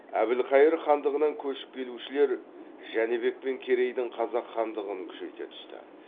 әбілхайыр хандығынан көшіп келушілер жәнібек пен керейдің қазақ хандығын күшейте түсті